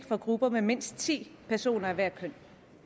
for grupper med mindst ti personer af hvert køn